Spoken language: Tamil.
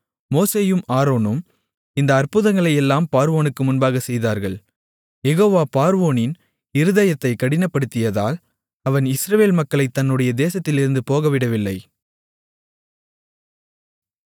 மோசேயும் ஆரோனும் இந்த அற்புதங்களையெல்லாம் பார்வோனுக்கு முன்பாகச் செய்தார்கள் யெகோவா பார்வோனின் இருதயத்தைக் கடினப்படுத்தியதால் அவன் இஸ்ரவேல் மக்களைத் தன்னுடைய தேசத்திலிருந்து போகவிடவில்லை